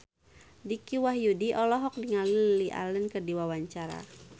Dicky Wahyudi olohok ningali Lily Allen keur diwawancara